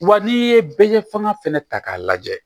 Wa n'i ye bɛɛ ye fanga fɛnɛ ta k'a lajɛ